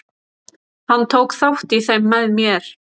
Hann tók þátt í þeim með mér.